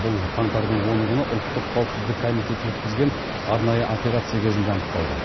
бұл қаңтардың оны күні ұлттық қауіпсіздік комитеті өткізген арнайы операция кезінде анықталды